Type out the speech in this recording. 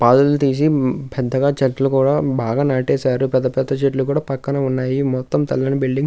పాదులు తీసి పెద్దగా చెట్లు కూడా బాగా నాటేశారు పెద్ద పెద్ద చెట్లు కూడా పక్కనే ఉన్నాయి మొత్తం తెల్లని బిల్డింగ్ --